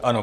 Ano.